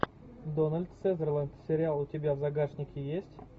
дональд сазерленд сериал у тебя в загашнике есть